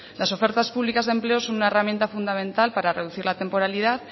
las ofertas públicas de empleo son una herramienta fundamental para reducir la temporalidad